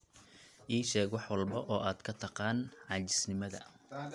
ii sheeg wax walba oo aad ka taqaan caajisnimada